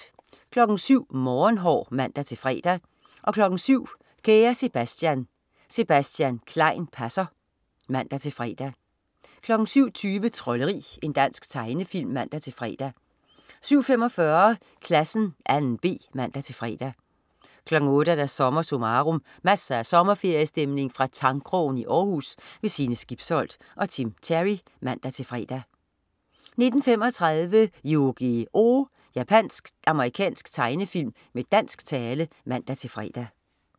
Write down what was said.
07.00 Morgenhår (man-fre) 07.00 Kære Sebastian. Sebastian Klein passer (man-fre) 07.20 Trolderi. Dansk tegnefilm (man-fre) 07.45 Klassen 2.b (man-fre) 08.00 SommerSummarum. Masser af sommerferiestemning fra Tangkrogen i Århus. Sine Skibsholt og Tim Terry (man-fre) 09.35 Yu-Gi-Oh! Japansk-amerikansk tegnefilm med dansk tale (man-fre)